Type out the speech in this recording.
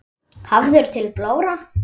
Hafður til blóra?